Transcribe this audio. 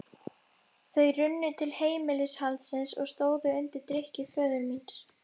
Þau runnu til heimilishaldsins og stóðu undir drykkju föður míns.